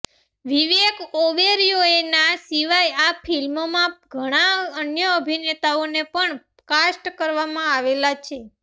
વિવેક ઓબેરોય ના સિવાય આ ફિલ્મ માં ઘણા અન્ય અભિનેતાઓને પણ કાસ્ટ કરવામાં આવેલા છે